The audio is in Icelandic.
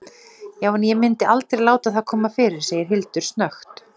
Já- en ég myndi aldrei láta það koma fram, segir Hildur snöggt.